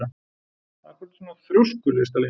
Af hverju ertu svona þrjóskur, Listalín?